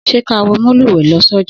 Sẹ ka wọ mòlúwẹ lọ sọjà?